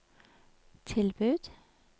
tilbud